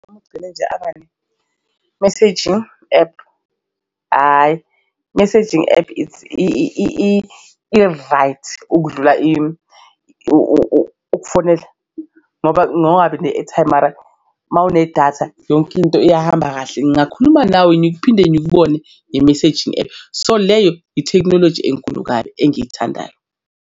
Ugcine nje abane-messaging ephu, hhayi messaging ephu i-right ukudlula ukufonela ngoba ne-airtime mara mawunedatha yonke into iyahamba kahle, ngingakhuluma nawe ngiphinde ngikubone nge-messaging app so leyo ithekhinoloji enkulu kabi engiyithandayo.